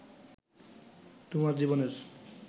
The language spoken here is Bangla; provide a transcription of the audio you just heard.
তোমার জীবনের